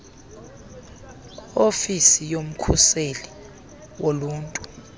ofisi yomkhuseli woluntu